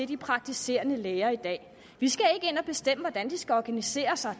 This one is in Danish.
de praktiserende læger i dag vi skal ikke ind at bestemme hvordan de skal organisere sig